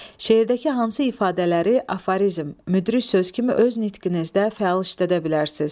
Şeirdəki hansı ifadələri afərizm, müdrik söz kimi öz nitqinizdə fəal işlədə bilərsiz?